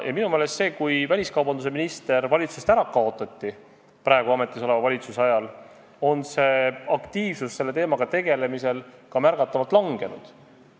Minu meelest on nüüd, kui ametis olev valitsus on väliskaubandusministri koha ära kaotanud, aktiivsus selle teemaga tegelemisel märgatavalt vähenenud.